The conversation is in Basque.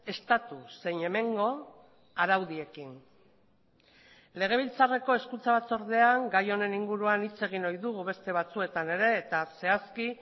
estatu zein hemengo araudiekin legebiltzarreko hezkuntza batzordean gai honen inguruan hitz egin ohi dugu beste batzuetan ere eta zehazki